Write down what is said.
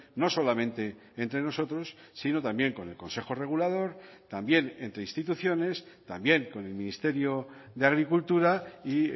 no solamente entre nosotros sino también con el consejo regulador también entre instituciones también con el ministerio de agricultura y